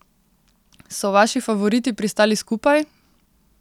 So vaši favoriti pristali skupaj?